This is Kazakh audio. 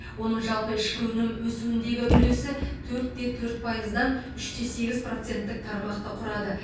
оның жалпы ішкі өнім өсуіндегі үлесі төрт те төрт пайыздан үш те сегіз проценттік тармақты құрады